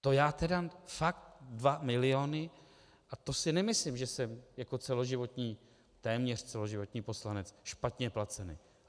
To já tedy, fakt dva miliony, a to si nemyslím, že jsem jako celoživotní, téměř celoživotní poslanec špatně placen.